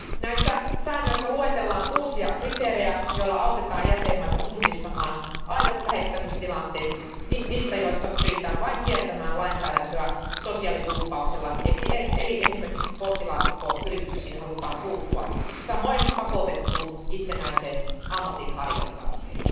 Näissä säännöissä luetellaan uusia kriteerejä, joilla autetaan jäsenvaltioita tunnistamaan aidot lähettämistilanteet niistä, joissa pyritään vain kiertämään lainsäädäntöä sosiaalidumppauksella eli esimerkiksi postilaatikkoyrityksiin halutaan puuttua, samoin pakotettuun itsenäiseen ammatinharjoittamiseen.